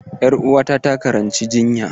Ƴar uwata takaranci jinya.